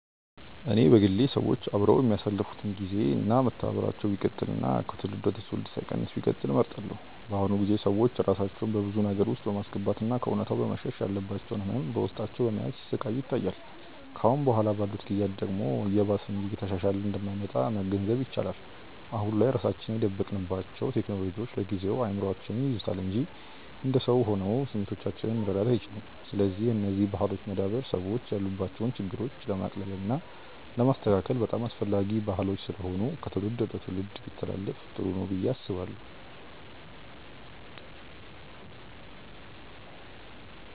እኔ በግሌ ሰዎች አብረው የሚያሳልፋት ግዜ እና መተባበራቸው ቢቀጥል እና ከትውልድ ወደ ትውልድ ሳይቀንስ ቢቀጥል እመርጣለሁ። በአሁኑ ጊዜ ሰዎች ራሳቸውን በብዙ ነገር ውስጥ በማስገባት እና ከእውነታው በመሸሽ ያለባቸውን ህመም በውስጣቸው በመያዝ ሲሰቃዩ ይታያል። ከአሁን በኋላ ባሉት ጊዜያት ደግሞ እየባሰ እንጂ እየተሻሻለ እንደማይመጣ መገንዘብ ይቻላል። አሁን ላይ ራሳችንን የደበቅንባቸው ቴክኖሎጂዎች ለጊዜው እይምሮአችንን ይይዙታል እንጂ እንደ ሰው ሆነው ስሜቶቻችንን መረዳት አይችሉም። ስለዚህ የነዚህ ባህሎች መዳበር ሰዎች ያሉባቸውን ችግሮች ለማቅለል እና ለማስተካከል በጣም አስፈላጊ ባህሎች ስለሆኑ ከትውልድ ትውልድ ቢተላለፋ ጥሩ ነው ብዬ አስባለሁ።